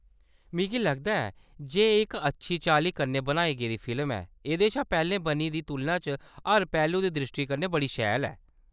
मिगी लगदा ऐ जे एह्‌‌ इक अच्छी चाल्ली कन्नै बनाई गेदी फिल्म ऐ, एह्‌‌‌दे शा पैह्‌लें बनी दी तुलना च हर पैह्‌‌लू दी द्रिश्टी कन्नै बड़ी शैल ऐ।